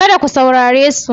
Kada ku saurare su.